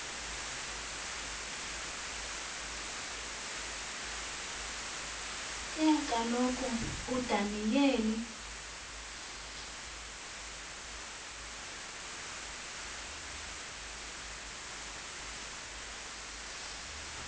ke kaloku udaniyeli